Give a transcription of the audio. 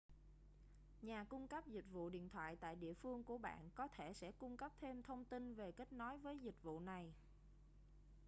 nhà cung cấp dịch vụ điện thoại tại địa phương của bạn có thể sẽ cung cấp thêm thông tin về kết nối với dịch vụ này